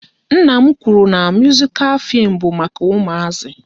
Nna m kwụrụ na muzikal fim bụ maka ụmụazi